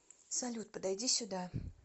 салют подойди сюда